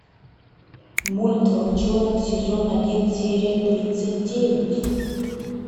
мульт волчонок сезон один серия тридцать девять